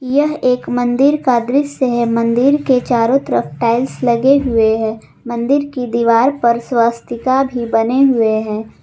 यह एक मंदिर का दृश्य है मंदिर के चारों तरफ टाइल्स लगे हुए हैं मंदिर की दीवार पर स्वास्तिका भी बने हुए हैं।